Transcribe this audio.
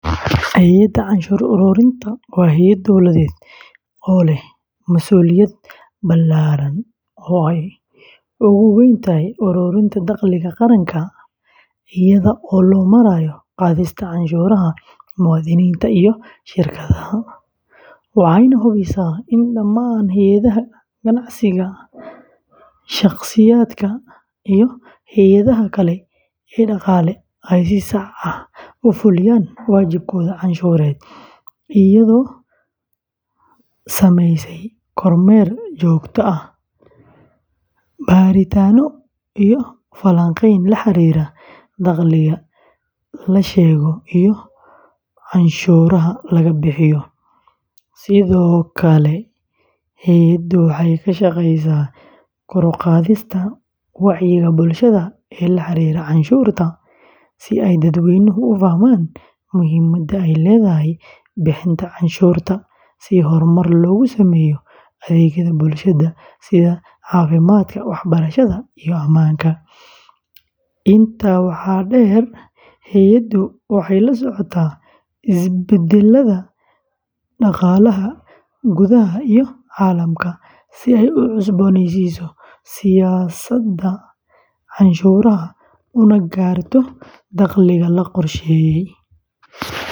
Hay’adda canshuur ururinta waa hay’ad dowladeed oo leh masuuliyad ballaaran oo ay ugu weyn tahay ururinta dakhliga qaranka iyada oo loo marayo qaadista canshuuraha muwaadiniinta iyo shirkadaha, waxayna hubisaa in dhammaan hay’adaha ganacsiga, shaqsiyaadka, iyo hay’adaha kale ee dhaqaale ay si sax ah u fuliyaan waajibaadkooda canshuureed, iyadoo samaysa kormeer joogto ah, baaritaanno iyo falanqeyn la xiriirta dakhliga la sheego iyo canshuuraha laga bixiyo; sidoo kale hay’addu waxay ka shaqeysaa kor u qaadista wacyiga bulshada ee la xiriira canshuurta, si ay dadweynuhu u fahmaan muhiimadda ay leedahay bixinta canshuurta si horumar loogu sameeyo adeegyada bulshada sida caafimaadka, waxbarashada, iyo ammaanka; intaa waxaa dheer, hay’addu waxay la socotaa isbeddellada dhaqaalaha gudaha iyo caalamka si ay u cusboonaysiiso siyaasadda canshuuraha una gaarto dakhliga la qorsheeyey.